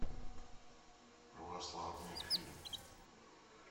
православные фильмы